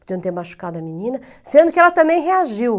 Podiam ter machucado a menina, sendo que ela também reagiu.